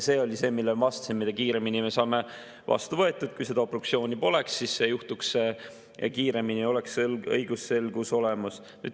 See oli see, millele ma viitasin, et mida kiiremini me saame selle vastu võetud ja et kui seda obstruktsiooni poleks, siis see juhtuks kiiremini ja oleks õigusselgus olemas.